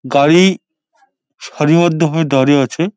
গাড়ি সারিবদ্ধ ভাবে দাঁড়িয়ে আছে।